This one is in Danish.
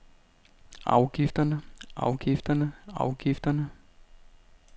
afgifterne afgifterne afgifterne